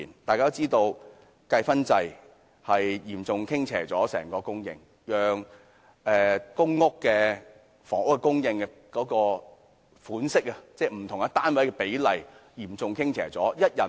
大家都知道計分制令整體供應嚴重傾斜，令公屋為不同類型人士而設的不同單位的比例嚴重傾斜。